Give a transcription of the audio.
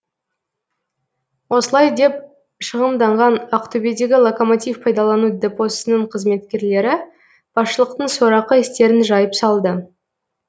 осылай деп шығымданған ақтөбедегі локомотив пайдалану депосының қызметкерлері басшылықтың сорақы істерін жайып салды